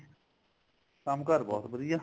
ਕੰਮ ਕਾਰ ਬਹੁਤ ਵਧੀਆ